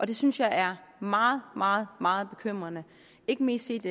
det synes jeg er meget meget meget bekymrende ikke mindst set